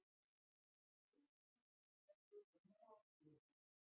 Rauður hringur er utan um rafhlöðuna.